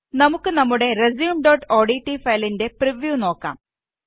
നമുക്ക് നമ്മുടെ resumeഓഡ്റ്റ് ഫയലിന്റെ പ്രിവ്യൂ നോക്കാം